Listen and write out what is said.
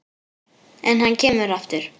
En hann kemur aftur.